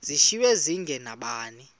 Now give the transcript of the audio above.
zishiywe zinge nabani